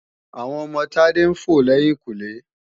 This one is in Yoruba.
Àwọn ọmọ Tádé ń fò lẹ́yìnkùnlé